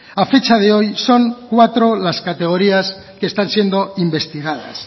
a fecha de hoy son cuatro las categorías que están siendo investigadas